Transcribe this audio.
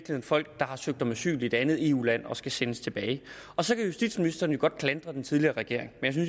folk der har søgt om asyl i et andet eu land og skal sendes tilbage så kan justitsministeren jo godt klandre den tidligere regering men